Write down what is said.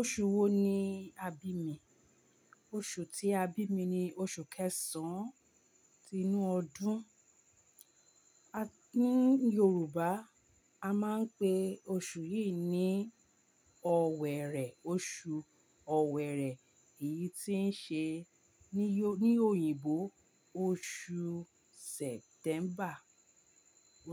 Oṣù wo ni a bí mi? Oṣù tí a bí mi ni oṣù kẹsàn-án inú ọdún. A ní Yorùbá a máa ń pe oṣù yìí ní Ọ̀wẹ̀rẹ̀. Oṣù Ọ̀wẹ̀rẹ̀ èyí tí ń ṣe ní oyin ní òyìnbó oṣù September.